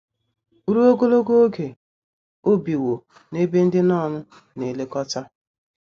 Ruo ogologo oge o biwo n’ebe ndị nọn na - elekọta.